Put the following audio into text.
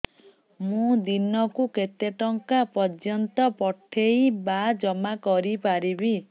ମୁ ଦିନକୁ କେତେ ଟଙ୍କା ପର୍ଯ୍ୟନ୍ତ ପଠେଇ ବା ଜମା କରି ପାରିବି